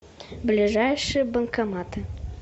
ближайшие банкоматы